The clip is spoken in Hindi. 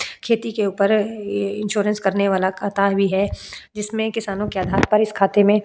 खेती के ऊपर य्-ये इंश्योरेंस करने वाला काता भी है जिसमें किसानों के आधार पर इस खाते में --